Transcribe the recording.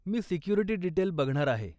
मी security detail बघणार आहे.